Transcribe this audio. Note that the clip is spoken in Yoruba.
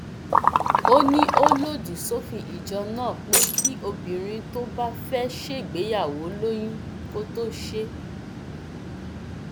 tàọrẹẹdà fáráunbí bàbá aládọ wọ wàhálà wọn ní àfẹmíṣòfò ni